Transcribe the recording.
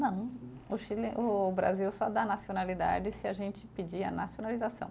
Não, o Chile, o Brasil só dá nacionalidade se a gente pedir a nacionalização.